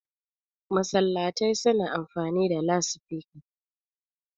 masallatai suna amfani da lasifika